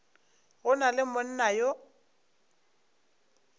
go na le monna yo